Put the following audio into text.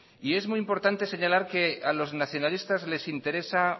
es muy importante señalar que a los nacionalistas les interesa